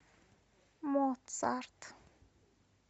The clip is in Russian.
моцарт